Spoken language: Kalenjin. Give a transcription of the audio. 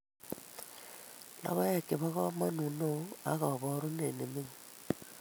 Logoek che bo kamanut ne oo ak kaboorunet ne ming'in